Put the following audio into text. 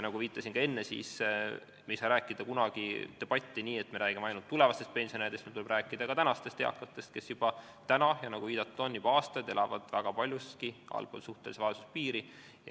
Nagu ma ka enne viitasin, me ei saa kunagi pidada debatti nii, et me räägime ainult tulevastest pensionäridest, meil tuleb rääkida ka tänastest eakatest, kes täna – ja nagu viidatud on, juba aastaid – elavad väga paljuski allpool suhtelist vaesuspiiri.